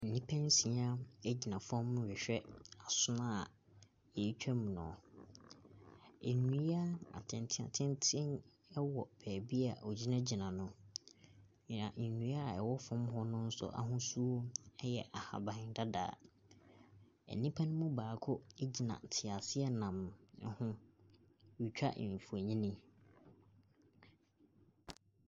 Nnipa nsia gyina fam rehwɛ asono a wɔretwa mu no. Nnua atenten atenten wɔ baabi a wɔgyinagyina no. Na nnua a ɛwɔ fam hɔ no nso ahosuo yɛ ahabandada. Nnipa no mu baako gyina teaseanam ho. Retwa mfonin.